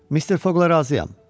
Mister Foqla razıyam.